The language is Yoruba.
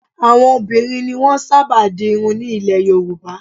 Àwọn obìnrin ni wọ́n máa ń sábà di irun ní ilẹ̀ Yorùbá